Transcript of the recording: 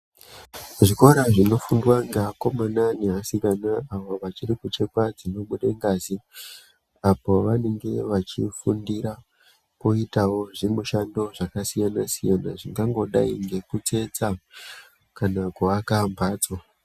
Zvikora zvinofundwa ngeakomana neasikana avo vachiri kuchikwa dzinobude ngazi apo vanenge vachifundira kuita zvimushando zvakasiyana siyana zvingangodai ngekutsetsa kana kuaka mphatso.